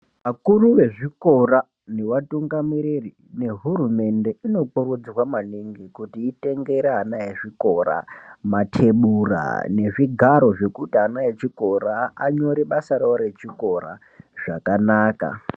Akuru vezvikora nevatungamiriri ngehurumende inopovodzerwa maningi kuti itenge ana ezvikora mathebura nezvigaro zvekuti ana echikora anyore basa ravo rechikora zvakanaka.